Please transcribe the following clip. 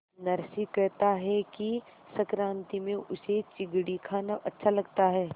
नरसी कहता है कि संक्रांति में उसे चिगडी खाना अच्छा लगता है